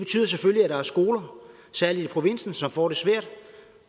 skoler særlig i provinsen som får det svært